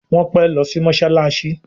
Wón pè ló sì mosalasi.